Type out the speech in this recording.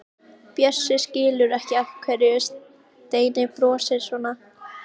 Bjössi skilur ekki af hverju Steini brosir svona.